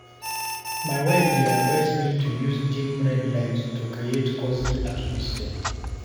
My wife dey advise me to use dim red light to create cozy atmosphere.